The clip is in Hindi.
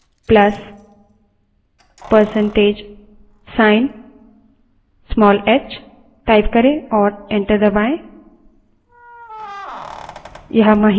prompt पर date space plus percentage sign small h type करें और enter दबायें